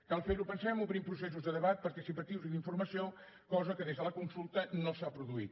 cal fer ho pensem obrint processos de debat participatius i d’informació cosa que des de la consulta no s’ha produït